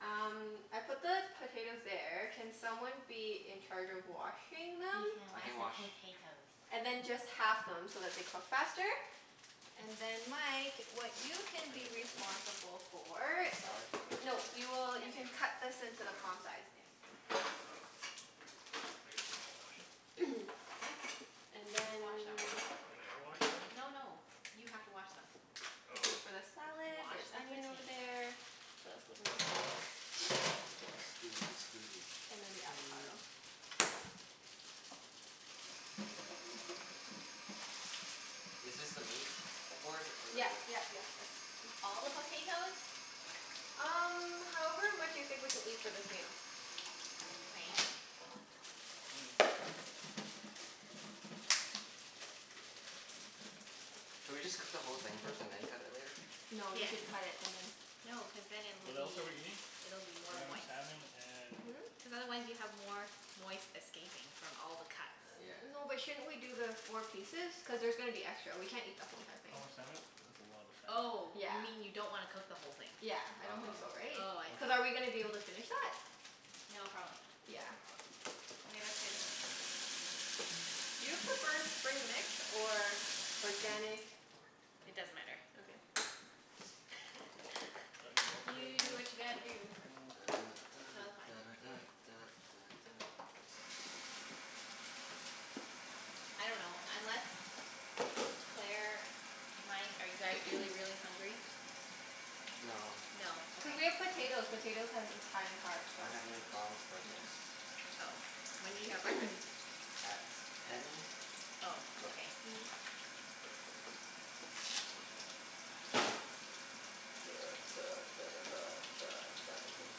um I put the potatoes there. Can someone be in charge of washing them? He can I wash can the wash. potatoes. And then just half them so that they cook faster. And then Mike, what you can Do we have be a bowl? responsible for The What? salad? Is there a No, bowl? Oh. you will, Yeah, you there. can cut this into the palm size. There. Oh. I guess we wanna wash it? Are they? What? And It's washed then already. Oh they are washed already? No no, you have to wash them. Oh. This is for the salad. Wash There's the onion over potatoes. there. What else goes in the salad? Scusi, scusi. And then the 'Scuse. avocado. Is this the meat board? Or the Yep wood? yep yep, that's a good one. All the potatoes? Um however much you think we can eat for this meal. All right. Should we just cook the whole thing first and then cut it later? No, you Yes. should cut it and then No, cuz then it'll What else are we be, eating? it'll be more We're having moist. salmon and Hmm? Cuz otherwise you have more moist escaping from all the cuts. Yeah. No but shouldn't we do the four pieces? Cuz there's gonna be extra. We can't eat the whole entire thing. How much salmon? That's a lot of Oh, salmon. you Yeah. mean you don't wanna cook the whole thing? Yeah, I Oh, don't think so oh okay. right? Oh, I see. Cuz are we going Okay. to be able to finish that? No, probably not. Yeah. Probably Okay, that's good. not. Do you prefer spring mix or organic It doesn't matter. Okay. Do I need more potatoes You than do this? what you gotta do. Da da No, they're da fine. da Okay. da da da da. I dunno, unless, Claire, Mike, are you guys really really hungry? No. No. Cuz Okay. we have potato. Potatoes has high in carbs, so. I had a McDonald's Yeah. breakfast. Oh. When did you have breakfast? At ten. Oh, Yeah. okay. Duh duh duh duh duh duh duh duh.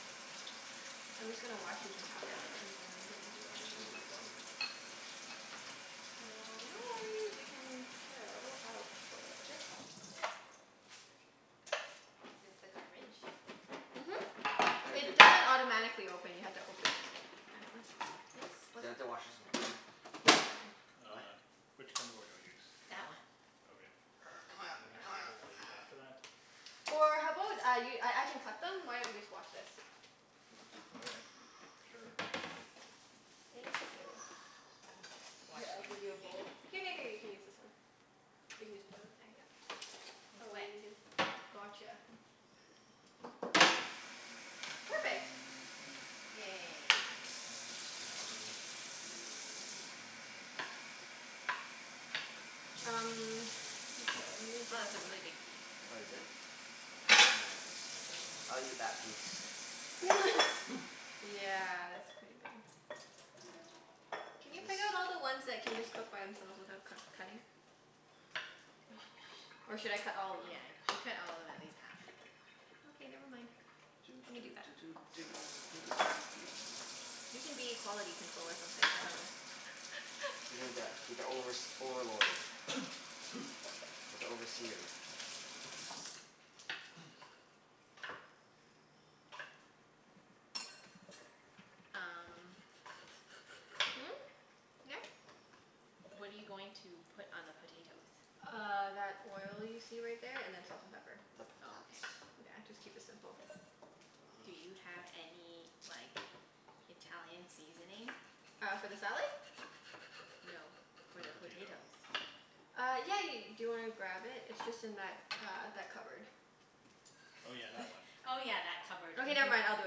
I'm just gonna wash these and half them and then gonna do onions as well. So no worries, you can chill out for a little bit. Is this the garbage? Mhm. It doesn't automatically open, you have to open it. I know it's, yes? Do What's I have up? to wash this in water? No, it's fine. What? Which cutting board do I use? That That one. one? Okay. C'mon, c'mon I use after that? Or how about I y- I I can cut them? Why don't you just wash this? Okay. Sure. Thank you. Mhm. Wash Here it I'll in the give you a container. bowl. Here here here you can use this one. You can just pour them in there, yep. It's Oh let wet. me get. Gotcha. Perfect. Yay. Um okay, let me Oh, get a that's a really big piece. Oh, is it? I'll cut smaller ones. I'll eat that piece. Yeah, that's pretty big. Can you Is pick out this all the ones that can just cook by themselves without cut cutting? Or should I cut all of them? Yeah, you should cut all of them at least half. Okay, never mind. Doo Let me do doo that. doo doo doo doo doo doo doo. You can be quality control or something. I dunno. You need that, be the overs- overlord. Like the overseer. Um Hmm? Yeah? What are you going to put on the potatoes? Uh that oil you see right there and then salt and pepper. The Oh, potats. okay. Yeah, just keep it simple. Do you have any like Italian seasoning? Uh for the salad? No. For For the the potato. potatoes. Uh yeah yeah ye- . Do you want to grab it? It's just in that uh that cupboard. Oh yeah, that one. Oh yeah, that cupboard. Okay never Mhm. mind, I'll do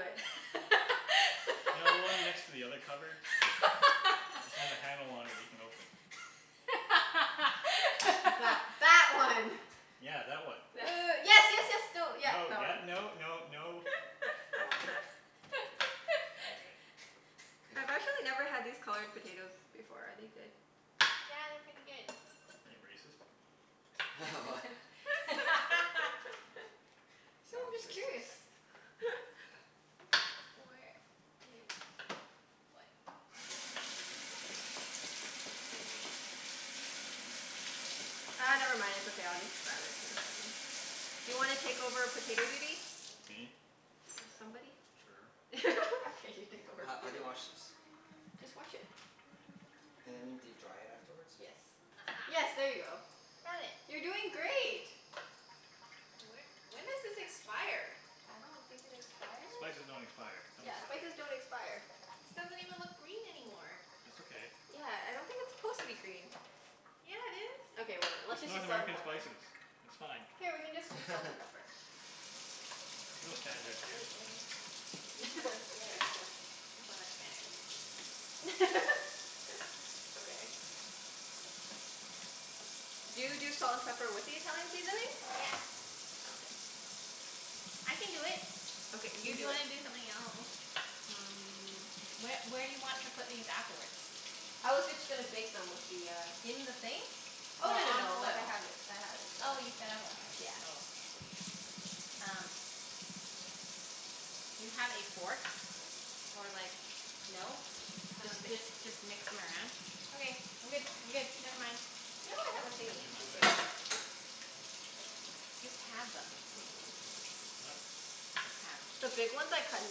it. You know the one next to the other cupboard? It's got a handle on it that you can open. That that one. Yeah, that one. Uh yes yes yes, no, yep, No, that yep, one. no no no. Okay. K. I've actually never had these colored potatoes before. Are they good? Yeah, they're pretty good. Are you racist? What? So I'm Sounds just curious. racist. Where is, what? Ah never mind. It's okay. I'll just grab it in a second. Do you want to take over potato duty? Me? Somebody? Sure. Okay, you take over Ho- how do you potato. wash this? Just wash it. And do you dry it afterwards? Yes. Yes, Aha. there you go. I found it. You're doing great. Wh- when does this expire? I don't think it expires. Spices don't expire. Don't be Yeah, silly. spices don't expire. This doesn't even look green anymore. That's okay. Yeah, I don't think it's supposed to be green. Yeah, it is. Okay whatever. Let's It's just North use salt and American pepper. spices. It's fine. Here, we can just use salt and pepper. There's no It's standards okay. here. Wait and this one looks better. This one looks better. Okay. Do you do salt and pepper with the Italian seasoning? Yeah. Okay. I can do it. Okay, If you you do it. wanna do something else? Um Wh- where do you want to put these afterwards? I was just going to bake them with the uh In the thing? Oh Or no no on no, like I foil? have it, I have it set Oh up. you set up already? Oh okay. Um okay. Do you have a fork, or like, no? Just Um just just mix them around? Okay, I'm good, I'm good. Never mind. No I have a thingie. You're in my Just wait. way. Just halve them. What? Halve. The big ones I cut in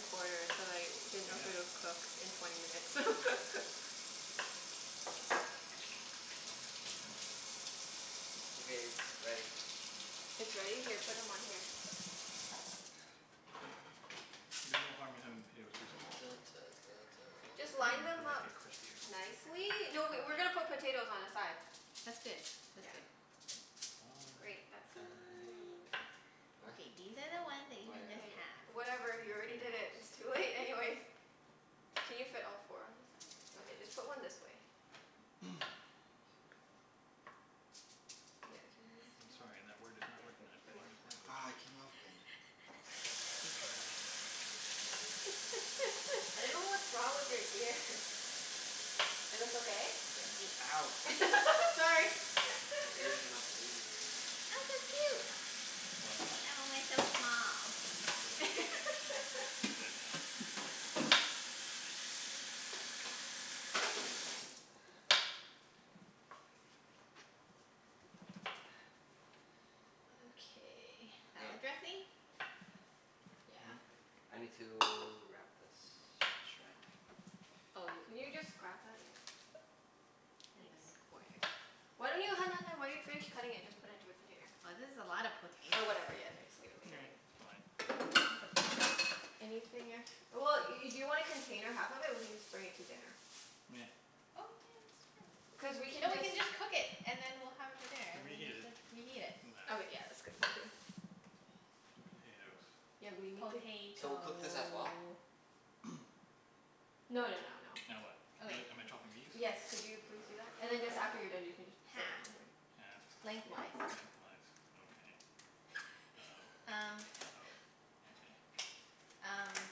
quarters, cuz I didn't know if they would Okay. cook in twenty minutes. Okay, it's ready. It's ready? Here, put them on here. There's no harm in having the potatoes too small. Just line them They'll just up get crispier. nicely. Okay. No, we we're going to put potatoes on the side. That's good. That's Yeah. good. Fine Great. That Fine. side fine. of What? Okay, these are the ones that you Oh Yep, can yeah. yeah just yeah. halve. Whatever, you already Okay did it. It's boss. too late anyways. Can you fit all four on this side? Okay, just put one this way. Yeah, can you move this I'm one? sorry, that word is not Yeah, good, recognized by good the work. English language. Aw it came off again. Please try again. I don't know what's wrong with your ears. Is this okay? Yeah. Ow. Sorry. My ear's gonna bleed. What? I killed it. It's dead now. Okay. Hey, Salad dressing? Yeah. Hmm? I need to wrap this in saran wrap. Oh y- Can you just grab that? Yeah. And Thanks. then quarter. Why don't you, hun hun hun. Why don't you finish cutting it and just put into a container? This is a lot of potato. Or whatever, yeah just leave it leave it leave It's it. fine. It's okay. Anything ex- well, y- do you want to container half of it? We can just bring it to dinner. Nah. Oh yeah, that's true. Cuz we No, can we just can just cook it and then we'll have it for dinner We'll and reheat we it. can reheat it. Doesn't matter. Okay yeah, that's good point too. The potatoes. Yeah, we need to So cook this as well? Potato. No no no no. Now what? Am Okay. I am I chopping these? Yes, could you please do that? And then just, after you're done you can just set them Half. on here. Halfed. Lengthwise. Lengthwise. Okay. uh-oh Um uh-oh. Okay. Um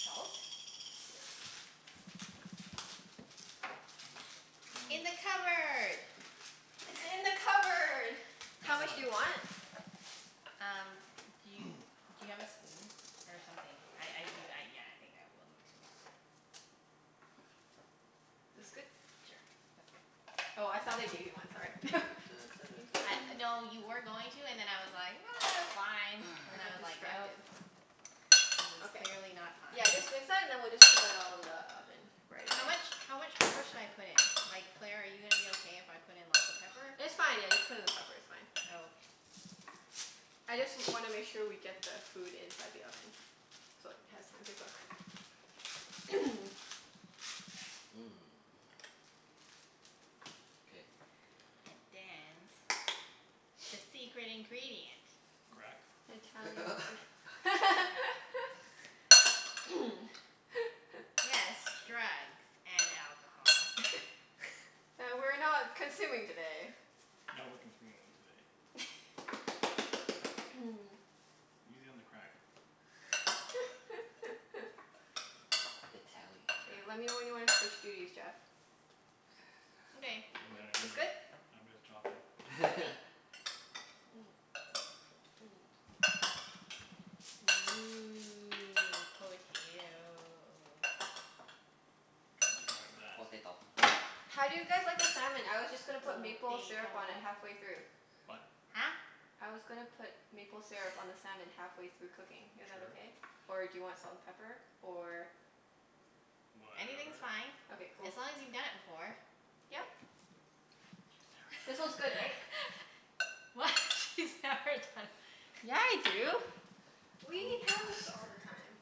salt? Yes. In the cupboard. It's in the cupboard. How That much one. do you want? Um, do you, do you have a spoon or something? I I do, yeah, I think I will need to mix it. This good? Sure, that's good. Oh I thought I gave you one. Sorry. Da da da da No, da you were da going to and da then I was like, ah it's fine. And I then I got was like, no. distracted. This is Okay. clearly not fine. Yeah, just and then we'll just put that all in the oven right How away. much, how much pepper should I put in? Like Claire, are you gonna be okay if I put in lots of pepper? It's fine, yeah, just put in the pepper, it's fine. Oh okay. I just wanna make sure we get the food inside the oven so it has time to cook. Mmm, K. And dance, the secret ingredient. Crack? Italian sea- Yes, drugs and alcohol. That we're not consuming today. No, we're consuming them today. Easy on the crack. Italian K, let me know when crack. you want to switch duties Jeff. Okay. Doesn't matter to It's me. good? I'm just chopping. Ooh, potato. that. Potato. How do you guys like the salmon? I was just gonna put maple syrup on it Potato. halfway through. What? Huh? I was gonna put maple syrup on the salmon halfway through cooking. Is that Sure. okay? Or do you want salt and pepper? Or Anything's Whatever. fine, Okay, cool. as long as you've done it before. Yep. She's This never one's done good right? it before. What? She's never done? Yeah I do. We eat Don't cross halibut all her. the time.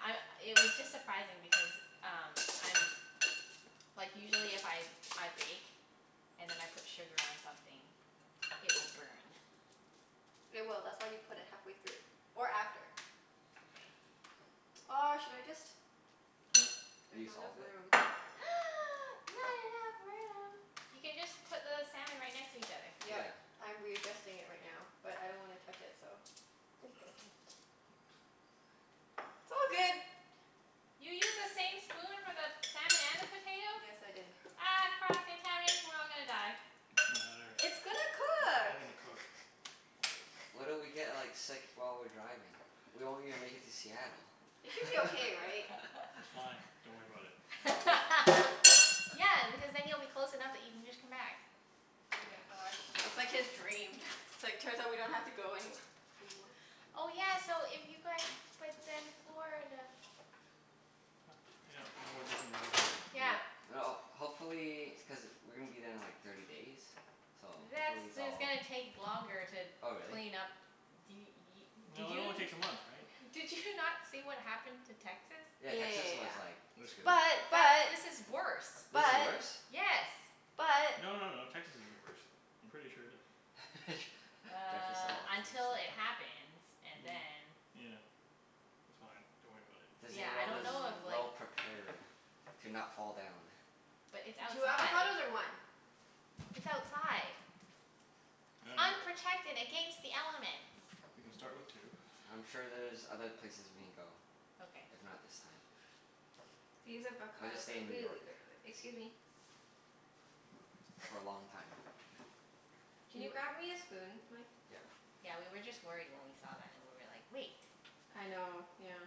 I, it was just surprising because um, I'm, like usually if I I bake and then I put sugar on something, it will burn. It will. That's why you put it halfway through or Okay. after. Okay. Oh should I just, What? there's Use not enough all of it? room. Not enough room? You can just put the salmon right next to each other. Yep. Yeah. I'm readjusting it right now, but I don't want to touch it, so. Oops. It's all good. You used the same spoon for the salmon and the potato? Yes, I did. Ah cross contamination. We're all gonna die. It doesn't matter. It's gonna It's cook. all gonna cook. What if we get like sick while we're driving? We won't even make it to Seattle. It should be okay right? It's fine. Don't worry about it. Yeah, because then you'll be close enough that you can just come back. Oh my Yes. gosh. That's like his dream. It's like, turns out we don't have to go anywh- anymore. Oh yeah, so if you guys, but then Florida. Yep. No more Disney World. Yeah. Yeah, well hopefully. Cuz we're going to be there in like thirty days, so That's, hopefully it's it's all gonna take longer to Oh really? clean up. D- y- did No, it you only takes a month right? did you not see what happened to Texas? Yeah, Texas Yeah was like They're yeah screwed. screwed. yeah This is yeah. worse. This is But. worse? But. Yes. But. No no no. But. Texas is the worst. I'm pretty sure that Jeff is so Uh until it optimistic. happens and then Yeah. It's fine. Don't worry about it. Disney Yeah, I World don't is know if like well prepared to not fall down. But it's Two outside. avocados or one? It's outside. Unprotected against the elements. We can start with two. I'm sure there's other places we can go, Okay. if not this time. These I'll just avocados stay are in New really York good by the, excuse me. for a long time. Can Do you you grab me a spoon Mike? Yep. Yeah, we were just worried when we saw that and we were like, wait. I know. Yeah.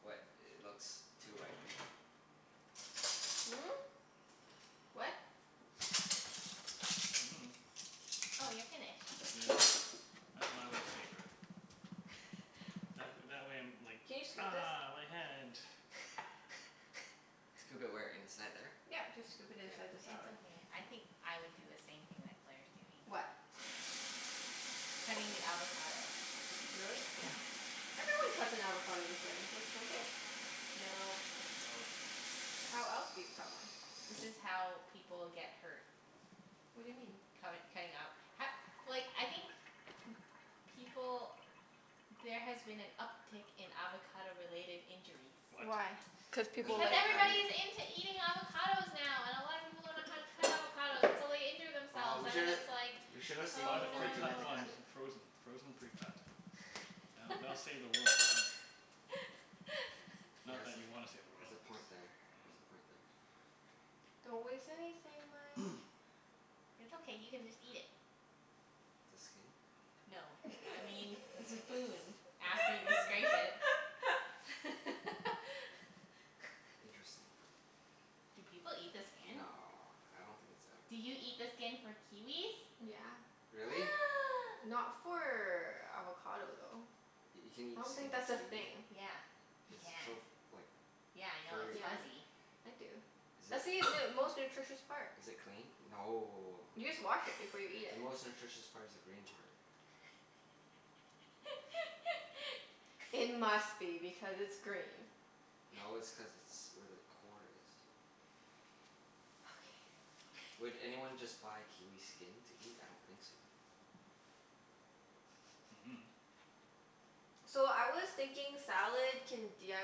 What? It looks too ripe? Hmm? What? Oh you're finished. Yeah. I think my way's safer. That wh- that way I'm like, Can you scoop this? ah, my hand. Scoop it where? Inside there? Yep. Just scoop it K. inside the It's salad. okay. I think I would do the same thing that Claire's doing. What? Cutting the avocado. Really? Yeah. Everyone cuts an avocado this way, don't don't they? Nope. No. Nope. How else do you cut one? This is how people get hurt. What do you mean? Cutt- cutting up h- like I think people, there has been an uptake in avocado related injuries. What? Why? Cuz Cuz people if Because like we're cutting everybody's into eating avocados now and a lot of people don't know how to cut avocados and so they injure Oh themselves, we and then should, it's like, We we should should have have just saved one bought a oh no. for Junette precut to one cut it. in frozen. Frozen precut. That'll that'll save the world, right? Not that you want to save the Has world, a cuz point there. Has a point there. Don't waste anything Mike. It's okay, you can just eat it. The skin? No. I mean the spoon after you scrape Oh. it. Interesting. Do people eat the skin? No, I don't think it's Do you edible. eat the skin for kiwis? Yeah. Really? Not for avocado though. You can eat I don't skin think that's of a a thing. kiwi? Yeah, you It's so can. f- like Yeah I know, it's furry Yeah. though. fuzzy. I do. Is That's it, the most nutritious part. is it clean? No. You just wash it before you eat The it. most nutritious part is the green part. It must be because it's green. No, it's cuz it's where the core is. Okay Would okay. anyone just buy kiwi skin to eat? I don't think so. Mhm. So I was thinking salad can d i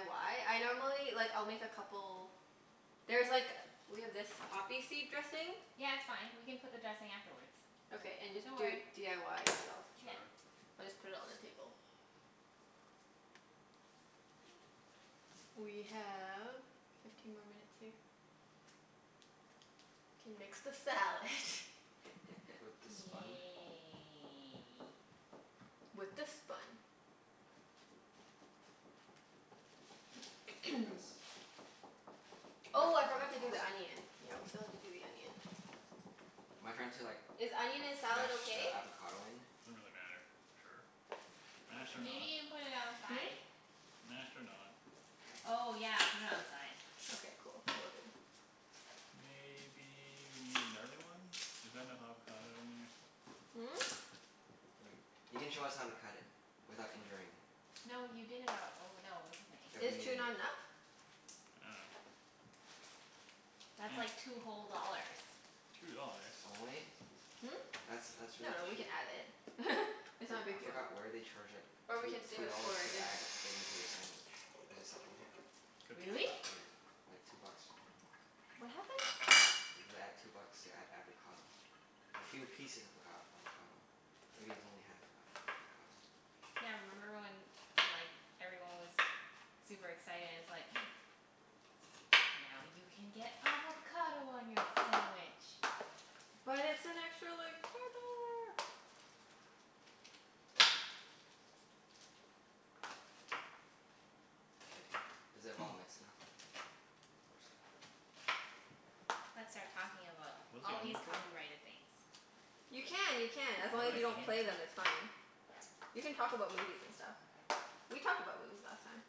y? I normally, like I'll make a couple. There's like, we have this poppy seed dressing? Yeah, it's fine. We can put the dressing afterwards. Okay and just Don't do it worry. d i y yourself. Sure. We'll just put it on the table. We have fifteen more minutes here. Can mix the salad. With the spun? Yay. With the spun. Like this? Oh I forgot to do toss it? the onion. Yeah, we still have to do the onion. Am I trying to like Is onion in salad mash the okay? avocado in? Doesn't really matter. Sure. Mashed or Okay. Maybe not. you can put it on the Hmm? side? Mashed or not. Okay. Oh yeah, put it on the side. Okay, cool. Will do. Maybe you need another one? Is that enough avocado in there? Hmm? Wait. You can show us how to cut it without injuring. No you did it al- oh no, it's okay. Is two not enough? I dunno. That's like two whole dollars. Two dollars? Only? Hmm? That's, that's really No, we can cheap. add it. It's not For- a I big deal. forgot where they charge like Or we two can save two it for dollars our to dinner. add it into your sandwich. Is it Subway? Could be. Really? Yeah. Like two bucks or something. What happened? You add two bucks to add avocado. A few pieces of avocad- avocado. Maybe it's only half of an avocado. Yeah, remember when like everyone was super excited and it's like, now you can get avocado on your sandwich. But it's an extra like four dollar. K, is it well mixed enough? Or s- Let's start talking about What is the all these onion for? copyrighted things. You Just can, kidding. you can. As What long are as you the don't onions play them for? it's fine. You can talk about movies and stuff. We talked about movies last time.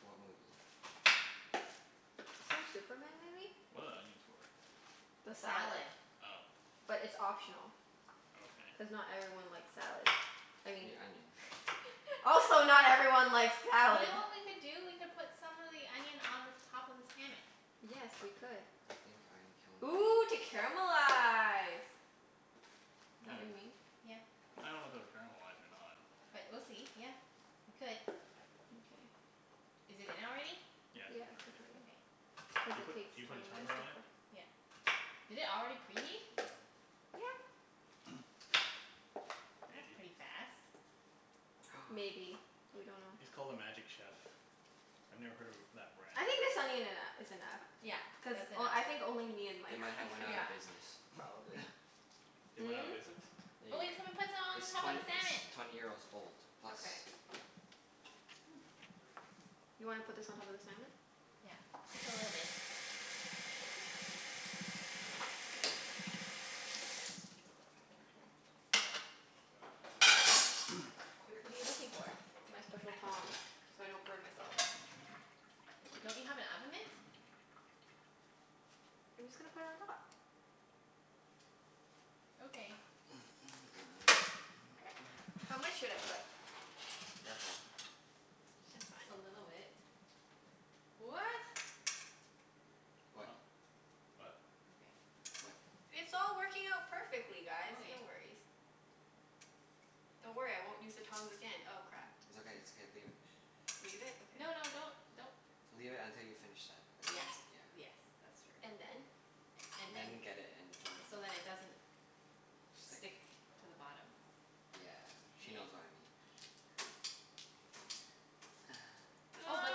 What movie? Some Superman movie. What are the onions for? The The salad. salad. Oh. But it's optional. Okay. Cuz not everyone likes salad. I You mean. mean onion. Also You not everyone likes salad. know what we could do? We could put some of the onion on the top of the salmon. Yes, we could. I think I'm killing Ooh to this. caramelize. Is that what you mean? Yeah. I don't know if it will caramelize or not. But we'll see. Yeah, we could. Mkay. Is it in already? Yeah, it's Yeah, in it's in already. already. Okay. Cuz Do you it put, takes do you put a twenty minutes timer to on it? cook. Yeah. Did it already preheat? Yeah. That's Maybe. pretty fast. Maybe. We don't know. It's called a Magic Chef. I've never heard of a that brand. I think the salmon eno- is enough Yeah, cuz that's enough. o- I think only me and They Mike might like have went it out Yeah. of business. probably. They went out Hmm? of business? There you But go. we can put some It's on top of twent- the its salmon. twenty years old plus. Okay. You wanna put this on top of the salmon? Yeah. Just a little bit. What are you Oops. looking for? My special tongs, so I don't burn myself. Don't you have an oven mitt? I'm just going to put it on top. Okay. How much should I put? Careful. It's fine. A little bit. What? What? Oh? What? Okay. What? It's all working out perfectly guys. No Okay. worries. Don't worry, I won't use the tongs again. Oh crap. It's okay, it's okay. Leave it. Leave it? Okay. No no, don't, don't. Leave it until you finish that and Yeah. then. Yeah. Yes, that's true. And then? And And then. then get it and throw it in the So that it doesn't Stick. stick to the bottom. Yeah. She knows what I mean. Oh but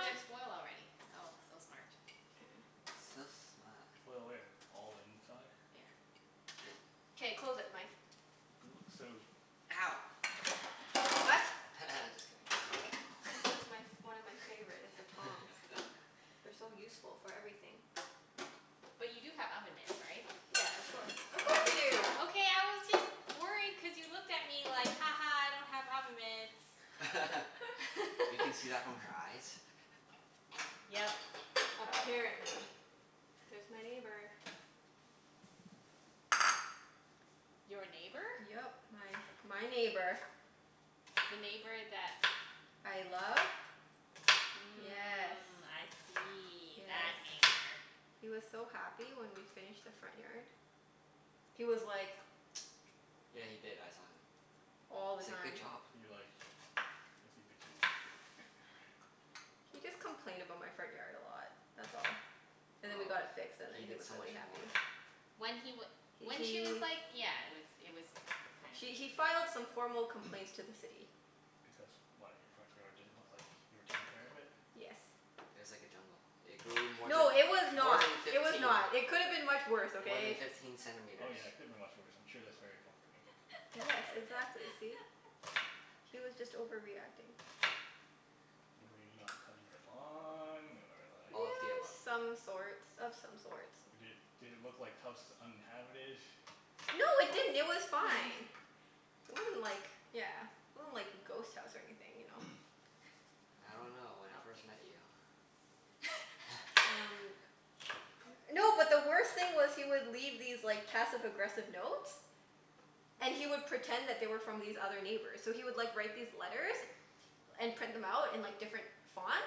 there's foil already. Oh, so smart. So smart. Foil where? All the inside? Yeah. Good. K, close it Mike. But it looks so, Ow. I dunno. What? Just kidding. This is my f- one of my favorite, is the tongs. They're so useful for everything. But you do have oven mitts, right? Yeah, of course. Of course we do. Okay I was just worried cuz you looked at me like, ha ha I don't have oven mitts. You can see that from her eyes? Yep. Apparently. There's my neighbor. Your neighbor? Yep. My my neighbor. The neighbor that I love? Yes. Mm, I see. That Yes. That. neighbor. He was so happy when we finished the front yard. He was like Yeah, he did. I saw him. All He the said, "Good time. job." Is he like, is he bitchy? He just complained about my front yard a lot, that's all. And then we Oh, got it fixed and he then he did was so really much more. happy. When he w- H- when he was he like yeah. It was, it was kind of he he ridiculous. filed some formal Because, complaints to the City. why? Your front yard didn't look like you were taking care of it? Yes. It was like a jungle. It grew more than, No, it was more not. than It was fifteen, not. It could have been much worse, more than okay? fifteen Oh centimeters. yeah, it could have been much worse. I'm sure that's very comforting. Yes, exactly. See? He was just overreacting. Were you not cutting your lawn or like All of the above. Some sorts. Of some sorts. Or did, did it look like house was uninhabited? No it didn't. It was fine. It wasn't like, yeah, it wasn't like a ghost house or anything, you know? I don't know. When I first met you. Okay. Um. No, but the worst thing was, he would leave these like passive aggressive notes. And he would pretend that they were from these other neighbors. So he would like write these letters and print them out in like different fonts.